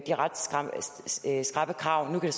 de ret skrappe krav nu kan